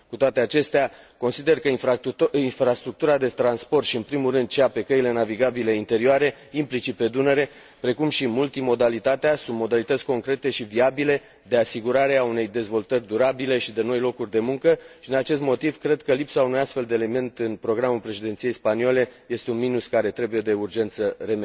Cu toate acestea, consider că infrastructura de transport și, în primul rând, cea pe căile navigabile interioare, implicit pe Dunăre, precum și multimodalitatea, sunt modalități concrete și viabile de asigurare a unei dezvoltări durabile și de noi locuri de muncă și, din acest motiv, cred că lipsa unui astfel de element în programul președinției spaniole este un minus care trebuie de urgență remediat